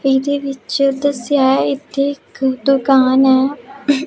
ਫਿਰ ਇਹਦੇ ਵਿੱਚ ਦੱਸਿਆ ਹੈ ਇੱਥੇ ਇੱਕ ਦੁਕਾਨ ਹੈ।